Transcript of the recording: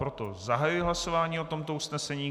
Proto zahajuji hlasování o tomto usnesení.